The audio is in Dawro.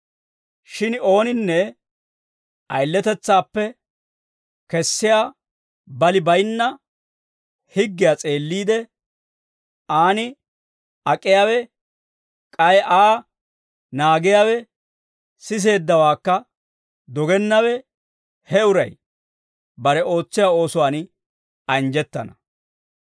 Shin ooninne ayiletetsaappe kessiyaa bali bayinna higgiyaa s'eelliide, aan ak'iyaawe k'ay Aa naagiyaawe, siseeddawaakka dogennawe, he uray bare ootsiyaa oosuwaan anjjettana.